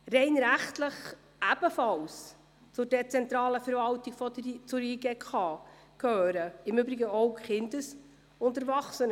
Rein rechtlich ebenfalls zur dezentralen Verwaltung der JGK gehören im Übrigen auch die Kesb.